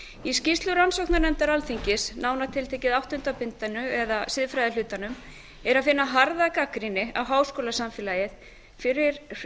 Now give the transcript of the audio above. í skýrslu rannsóknarnefndar alþingis nánar tiltekið áttunda bindinu það er siðfræðihlutanum er að finna harða gagnrýni á háskólasamfélagið fyrir